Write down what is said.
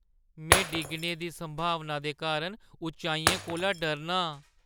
में डिग्गने दी संभावना दे कारण उचाइयें कोला डरना आं।